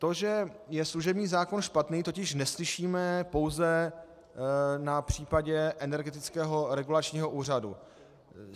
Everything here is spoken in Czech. To, že je služební zákon špatný, totiž neslyšíme pouze na případu Energetického regulačního úřadu.